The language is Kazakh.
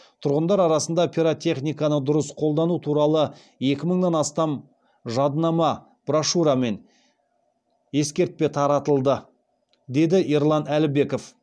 тұрғындар арасында пиротехниканы дұрыс қолдану туралы екі мыңнан астам жадынама брошура мен ескертпе таратылды деді ерлан әлібеков